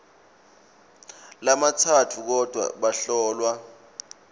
lamatsatfu kodvwa bahlolwa